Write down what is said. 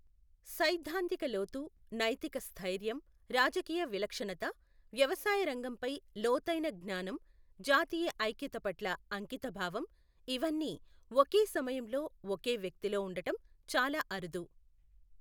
సైద్ధాంతిక లోతు, నైతిక స్థైర్యం, రాజకీయ విలక్షణత, వ్యవసాయ రంగంపై లోతైన జ్ఞానం, జాతీయ ఐక్యత పట్ల అంకితభావం ఇవన్నీ ఒకే సమయంలో ఒకే వ్యక్తిలో ఉండడం చాలా అరుదు.